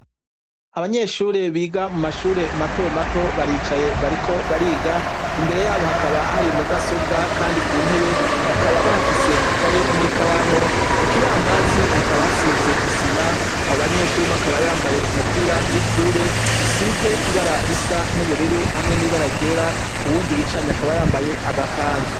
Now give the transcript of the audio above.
Abanyeshure biga mu mashure mato mato baricaye bariko bariga, imbere yabo hakaba hari mudasobwa kandi ku ntebe bakaba bahafise ikaye n'ikaramu, ku kibambazi hakaba hasize isima, abo banyeshure umwe akaba yambaye umupira w'ishure, usize ibara risa n'ubururu hamwe n'ibara ryera, uwundi bicaranye akaba yambaye agakanzu.